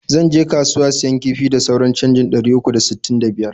zan je kasuwa siyan kifi da sauran canjin ɗari uku da sttin da biyar.